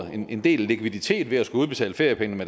en del likviditet ved at skulle udbetale feriepengene